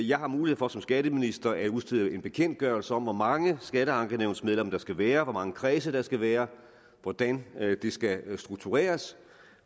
jeg har mulighed for som skatteminister at udstede en bekendtgørelse om hvor mange skatteankenævnsmedlemmer der skal være hvor mange kredse der skal være og hvordan det skal struktureres